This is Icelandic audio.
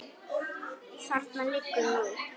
Þarna liggur nú